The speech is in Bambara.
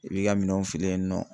I b'i ka minɛnw fili yen nɔ